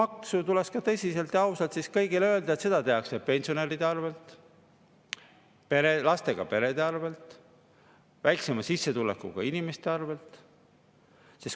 Seda tuleks ka tõsiselt ja ausalt siis kõigile öelda, et seda tehakse pensionäride arvel, lastega perede arvel, väiksema sissetulekuga inimeste arvel.